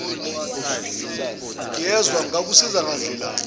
ngiyezwa ngingakusiza ngandlelani